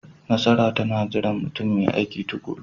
Nasara tana jiran mutum mai aiki tuƙuru.